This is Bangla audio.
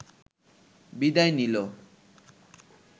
বিদায় নিল